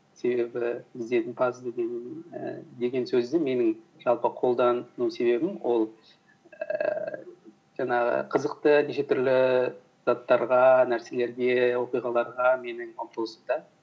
себебі ізденімпаз ііі деген сөзді менің жалпы қолдану себебім ол ііі жаңағы қызықты неше түрлі заттарға нәрселерге оқиғаларға менің ұмтылысым да